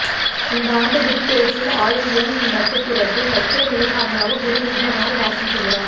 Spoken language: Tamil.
இந்தாண்டு குருபெயர்ச்சியில் ஆயில்யம் நட்சத்திரத்தில் வக்கிர நிலை காரணமாக குரு நீண்ட நாள் வாசம் செய்கிறார்